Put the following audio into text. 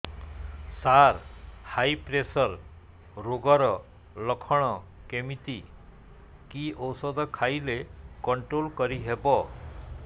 ସାର high pressure ରୋଗର ଲଖଣ କେମିତି କି ଓଷଧ ଖାଇଲେ କଂଟ୍ରୋଲ କରିହେବ